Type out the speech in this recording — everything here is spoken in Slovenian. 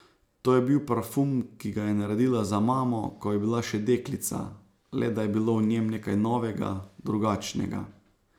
To je bil parfum, ki ga je naredila za mamo, ko je bila še deklica, le da je bilo v njem nekaj novega, drugačnega.